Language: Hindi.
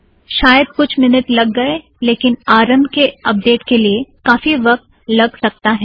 शायद कुछ मिनट लग गए लेकिन आरम्भ के अपडेट के लिए काफी वक़्त लग सकता है